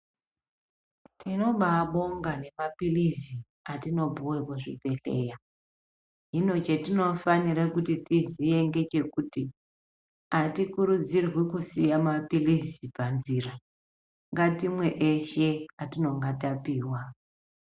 Tinobabonga nemapilizi atinopuwa kuzvibhehleya hino chatinofanira kuti tiziye ngechekuti atikurudzirwi kusiya mapiizi panzira ngatimwe eshe atinonga tapiwa